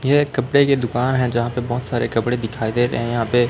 यह एक कपड़े की दुकान है जहां पे बहोत सारे कपड़े दिखाई दे रहे हैं यहां पे--